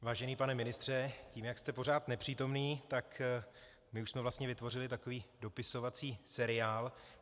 Vážený pane ministře, tím, jak jste pořád nepřítomný, tak my už jsme vlastně vytvořili takový dopisovací seriál.